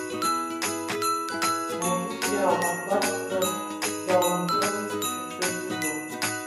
найди сериал аббатство даунтон шестой сезон